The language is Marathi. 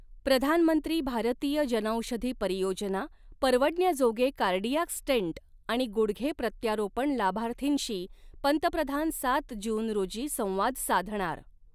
प्रधानमंत्री भारतीय जनौषधी परियोजना, परवडण्याजोगे कार्डिॲक स्टेंट आणि गुडघे प्रत्यारोपण लाभार्थींशी पंतप्रधान सात जून रोजी संवाद साधणार